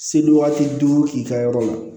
Seli waati duuru i ka yɔrɔ la